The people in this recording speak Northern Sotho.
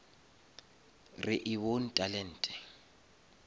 re e bone talente